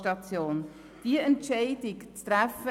Es ist wichtig, diese Entscheidung zu treffen.